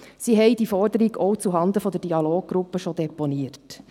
Sie haben die Forderung auch zuhanden der Dialoggruppe bereits deponiert.